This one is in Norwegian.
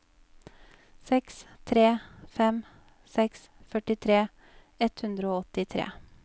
seks tre fem seks førtitre ett hundre og åttitre